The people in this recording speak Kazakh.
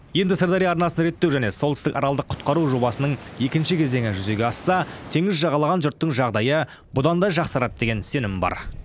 енді сырдария арнасын реттеу және солтүстік аралды құтқару жобасының екінші кезеңі жүзеге асса теңіз жағалаған жұрттың жағдайы бұдан да жақсарады деген сенім бар